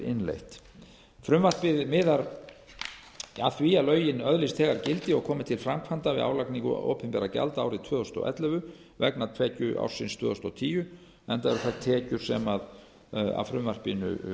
innleitt frumvarpið miðar að því að lögin öðlist þegar gildi og komi til framkvæmda við álagningu opinberra gjalda árið tvö þúsund og ellefu vegna tekjuársins tvö þúsund og tíu enda eru það tekjur sem af frumvarpinu